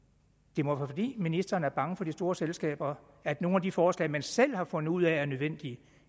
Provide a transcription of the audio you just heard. det må være fordi ministeren er bange for de store selskaber at nogle af de forslag man selv har fundet ud af er nødvendige